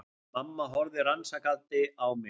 Mamma horfði rannsakandi á mig.